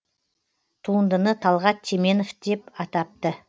туындыны талғат теменов деп атапты